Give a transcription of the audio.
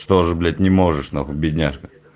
что ж блять не можешь нахуй бедняжка